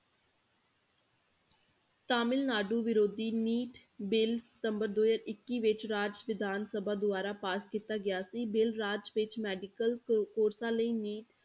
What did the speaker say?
ਤਾਮਿਲਨਾਡੂ ਵਿਰੋਧੀ NEET bill ਸਤੰਬਰ ਦੋ ਹਜ਼ਾਰ ਇੱਕੀ ਵਿੱਚ ਰਾਜ ਵਿਧਾਨ ਸਭਾ ਦੁਆਰਾ ਪਾਸ ਕੀਤਾ ਗਿਆ ਸੀ, ਬਿੱਲ ਰਾਜ ਵਿੱਚ medical ਕੋ~ courses ਲਈ NEET